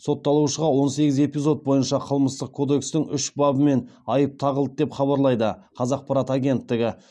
сотталушыға он сегіз эпизод бойынша қылмыстық кодекстің үш бабымен айып тағылды деп хабарлайды қазақпарат агенттігі